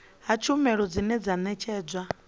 ha tshumelo dzine dza ṋetshedzwa